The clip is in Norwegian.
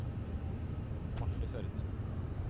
Martha Førde